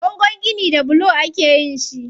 Bangon gini da bulo akeyin shi.